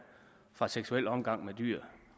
fra seksuel omgang med dyr